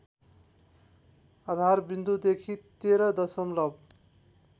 आधारविन्दुदेखि १३ दशमलव